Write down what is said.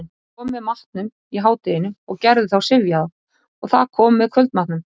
Það kom með matnum í hádeginu og gerði þá syfjaða, og það kom með kvöldmatnum.